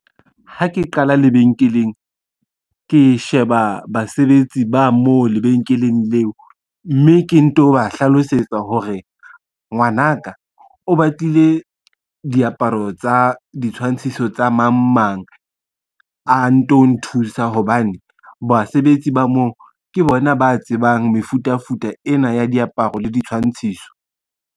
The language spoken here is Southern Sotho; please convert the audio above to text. Ha ke qala lebenkeleng, ke sheba basebetsi ba mo lebenkeleng leo, mme ke nto ba hlalosetsa hore ngwana ka o batlile diaparo tsa ditshwantshiso tsa mang mang a nto nthusa hobane basebetsi ba moo, ke bona ba tsebang mefutafuta ena ya diaparo le ditshwantshiso.